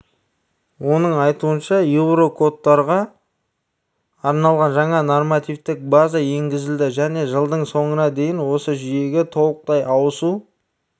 оның айтуынша еурокодтарға арналған жаңа нормативтік база енгізілді және жылдың соңына дейін осы жүйеге толықтай ауысу